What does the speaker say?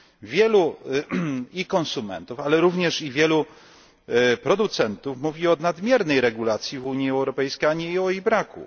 Wielu konsumentów, ale również wielu producentów mówi o nadmiernej regulacji w Unii Europejskiej, a nie o jej braku.